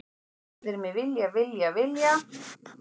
Allir mig vilja, vilja, vilja.